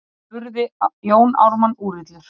spurði Jón Ármann úrillur.